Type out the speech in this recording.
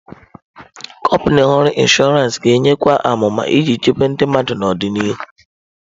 Kọmpanị ọrụ inshọransị ga-enyekwu amụma iji chebe ndị mmadụ n'ọdịnihu.